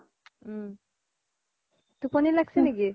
ওম টোপনি লাগিছে নেকি